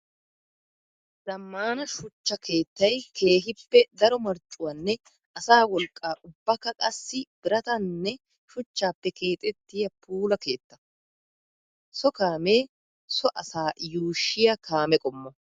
Zammaana shuchcha keettay keehippe daro marccuwanne asaa wolqqa ubba qassikka biratanne shuchchappe keexxettiya puula keetta. So kaame so asaa yuushiya kaame qommo.